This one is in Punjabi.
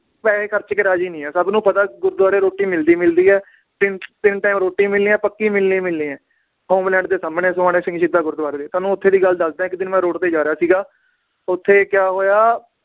ਪੈਸੇ ਖਰਚ ਕੇ ਰਾਜੀ ਨੀ ਹੈ ਸਬ ਨੂੰ ਪਤਾ ਗੁਰਦਵਾਰੇ ਰੋਟੀ ਮਿਲਦੀ ਮਿਲਦੀ ਏ ਤਿੰਨ ਤਿੰਨ time ਰੋਟੀ ਮਿਲਣੀ ਏ ਪੱਕੀ ਮਿਲਣੀ ਮਿਲਣੀ ਏ ਹੋਮਲੈਂਡ ਦੇ ਸਾਮਣੇ ਸੋਹਾਣੇ ਸਿੰਘ ਸ਼ਹੀਦਾਂ ਗੁਰਦਵਾਰੇ ਦੀ, ਤੁਹਾਨੂੰ ਓਥੇ ਦੀ ਗੱਲ ਦੱਸਦਾਂ ਏ ਇੱਕ ਦਿਨ ਮੈ road ਤੇ ਜਾ ਰਿਹਾ ਸੀਗਾ ਓਥੇ ਕਿਆ ਹੋਇਆ